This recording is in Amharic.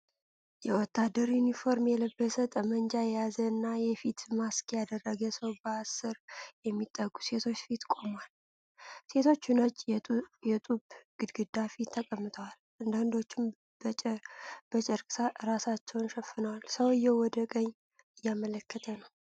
የወታደር ዩኒፎርም የለበሰ፣ ጠመንጃ የያዘ እና የፊት ማስክ ያደረገ ሰው በአስር የሚጠጉ ሴቶች ፊት ቆሟል። ሴቶቹ ነጭ የጡብ ግድግዳ ፊት ተቀምጠዋል፣ አንዳንዶቹም በጨርቅ ራሳቸውን ሸፍነዋል። ሰውዬው ወደ ቀኝ እያመለከተ ነው።